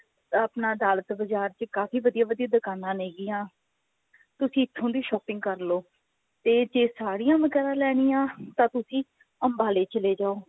ਆਪਣੇ ਅਦਾਲਤ ਬਜ਼ਾਰ ਚ ਕਾਫੀ ਵਧੀਆ ਵਧੀਆ ਦੁਕਾਨਾ ਨੇਗਿਆ ਤੁਸੀਂ ਇੱਥੋਂ ਦੀ shopping ਕਰਲੋ ਤੇ ਜੇ ਸਾੜੀਆਂ ਵਗੇਰਾ ਲੈਣੀਆ ਤਾਂ ਤੁਸੀਂ ਅੰਬਾਲੇ ਚੱਲੇ ਜਾਓ